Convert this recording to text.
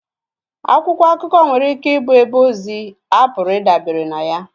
Akwụkwọ akụkọ nwere ike ịbụ ebe ozi a pụrụ ịdabere na ya